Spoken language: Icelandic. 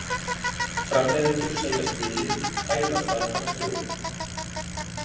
Framleiðendurnir segja spilið hæðast að harðstjórunum